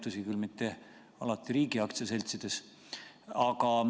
Tõsi küll, mitte alati riigi osalusega aktsiaseltsides.